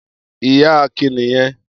Iyán Akin nì yẹn.